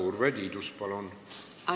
Urve Tiidus, palun!